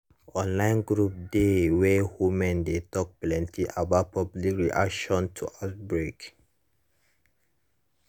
online group dey wey women dey talk plenty about public reaction to outbreak